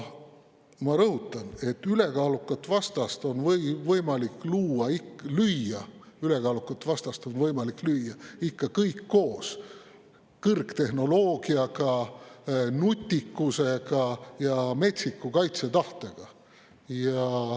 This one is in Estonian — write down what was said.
Ma rõhutan, et ülekaalukat vastast on võimalik lüüa ikka kõik koos kõrgtehnoloogiaga, nutikusega ja metsiku kaitsetahtega.